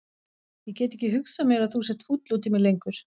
Ég get ekki hugsað mér að þú sért fúll út í mig lengur.